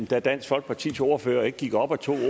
da dansk folkepartis ordfører ikke gik op og tog